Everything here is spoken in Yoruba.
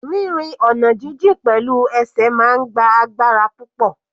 Rírin ọ̀nà jijìn pẹ̀lú ẹsẹ̀ máa ń gba agbára púpọ̀.